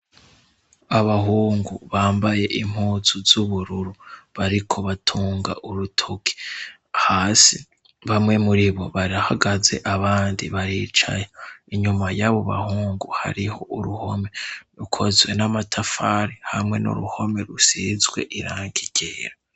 Abahungu bambaye impuzu z'ubururu bariko batunga urutuki hasi bamwe muri bo barahagaze abandi baricaye inyuma y'abo bahungu hariho uruhome rukozwe n'amatafari hamwe n'uruhome rusizwe irangi ryera.